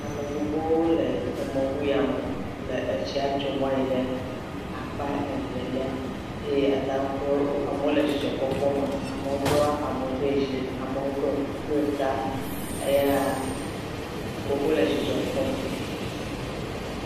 Ame gbogbowo le emɔŋu ya me le etsia tsom ayi ɖe akpa evelia eye ata ŋu kpɔ wo.. wole dzidzɔkpɔkpɔ me. Amewo do abɔ ɖe dzi, amewo ɖɔ kuku ɖe ta eya wole dzidzɔ kpɔm.